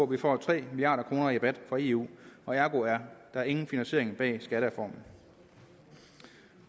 vi får tre milliard kroner i rabat fra eu og ergo er der ingen finansiering bag skattereformen